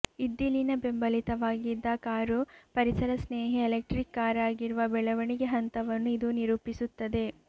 ಇದ್ದಿಲಿನ ಬೆಂಬಲಿತವಾಗಿದ್ದ ಕಾರು ಪರಿಸರ ಸ್ನೇಹಿ ಎಲೆಕ್ಟ್ರಿಕ್ ಕಾರಾಗಿರುವ ಬೆಳವಣಿಗೆ ಹಂತವನ್ನು ಇದು ನಿರೂಪಿಸುತ್ತದೆ